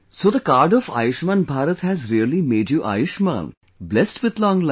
So the card of Ayushman Bharat has really made you Ayushman, blessed with long life